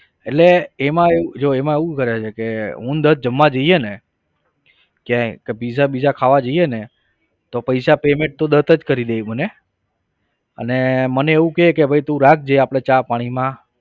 એટલે એમાં જો એમાં એવું કરે છે હું અને દત્ત જમવા જઈએ ને ક્યાંય pizza bizza ખાવા જઈએ ને તો પૈસા payment તો દત્ત જ કરી દે એ મને અને મને એવું કે ભાઈ તું રાખજે આપણે ચા પાણીમાં